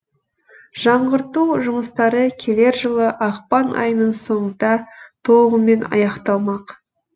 жаңғырту жұмыстары келер жылы ақпан айының соңында толығымен аяқталмақ